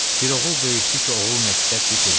Bir oğul böyütdü ki, oğul məktəb bitirdi.